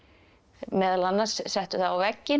meðal annars settu það á vegginn